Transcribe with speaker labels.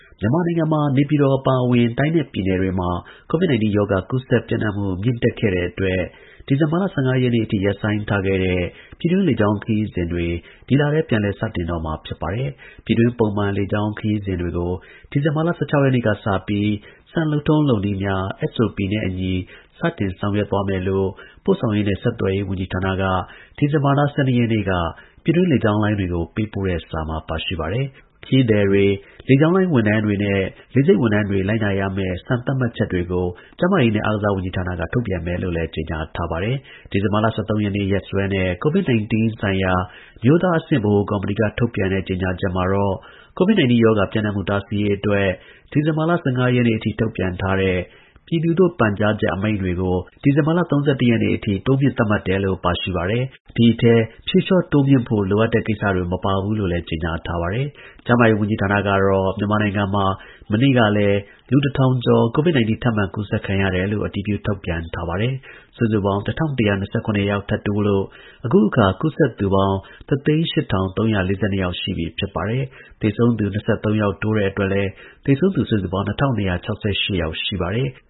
Speaker 1: မြန်မာနိုင်ငံမှာ နေပြည်တော်အပါအဝင် တိုင်းနဲ့ပြည်နယ်တွေမှာ COVID-19 ရောဂါ ကူးစက်ပျံ့နှံ့မှု မြင့်တက်ခဲ့တဲ့အတွက် ဒီဇင်ဘာလ ၁၅ ရက်နေ့အထိ ရပ်ဆိုင်းထားခဲ့တဲ့ ပြည်တွင်းလေကြောင်းခရီးစဉ်တွေ ဒီလထဲ ပြန်လည်စတင်တော့မှာ ဖြစ်ပါတယ်။ ပြည်တွင်း ပုံမှန်လေကြောင်း ခရီးစဉ်တွေကို ဒီဇင်ဘာလ ၁၆ ရက်နေ့ကစပြီး စံလုပ်ထုံးလုပ်နည်းများ (SOP) နဲ့အညီ စတင်ဆောင်ရွက်သွားမယ်လို့ ပို့ဆောင်ရေးနဲ့ ဆက်သွယ်ရေးဝန်ကြီးဌာနက ဒီဇင်ဘာလ ၁၂ ရက်နေ့မှာ ကြေညာပါတယ်။ COVID-19 ဆိုင်ရာ အမျိုးသားအဆင့် ဗဟိုကော်မတီရဲ့ လမ်းညွှန်ချက်အရလို့ ဆိုပါတယ်။ ခရီးသည်တွေ၊ လေကြောင်းလိုင်း ဝန်ထမ်းနဲ့ လေဆိပ်ဝန်ထမ်းတွေ လိုက်နာရမယ့် စံသတ်မှတ်ချက်တွေကို ကျန်းမာရေးနဲ့ အားကစားဝန်ကြီးဌာနက ထုတ်ပြန်မယ်လို့လည်း ကြေညာထားပါတယ်။ ဒီဇင်ဘာလ ၁၃ ရက် နေ့စွဲနဲ့ COVID-19 ဆိုင်ရာ အမျိုးသားအဆင့် ဗဟိုကော်မတီက ထုတ်ပြန်ကြေညာချက်မှာတော့ COVID-19 ရောဂါ ပျံ့နှံ့မှု တားဆီးရေးအတွက် ဒီဇင်ဘာလ ၁၅ ရက်နေ့အထိ ထုတ်ပြန်ထားတဲ့ ပြည်သူသို့ ပန်ကြားချက် အမိန့်တွေကို ဒီဇင်ဘာလ ၃၁ ရက်နေ့အထိ တိုးမြှင့်သတ်မှတ်တယ်လို့ ပါရှိပါတယ်။ ဒီအထဲ ဖြေလျှော့တိုးမြှင့်ဖို့ လိုအပ်တဲ့ ကိစ္စတွေ မပါဝင်ဘူးလို့ ဆိုပါတယ်။ ကျန်းမာရေးဝန်ကြီးဌာနကတော့ မြန်မာနိုင်ငံမှာ မနေ့ကလည်း လူ ၁,၀၀၀ ကျော် COVID-19 ထပ်မံကူးစက်ခံရတယ်လို့ ထုတ်ပြန်ထားပါတယ်။ စုစုပေါင်း ၁,၁၂၇ ယောက် ထပ်တိုးလို့ အခုအခါ ကူးစက်သူပေါင်း ၁၀၈,၃၄၂ ယောက်ရှိပြီ ဖြစ်ပါတယ်။ သေဆုံးသူ ၂၃ ယောက်တိုးတဲ့အတွက် သေဆုံးသူ စုစုပေါင်း ၂,၂၆၈ ယောက်ရှိပါတယ်။